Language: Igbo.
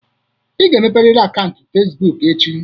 Ị ga-emepe riri akaụntụ Fezbụk echi!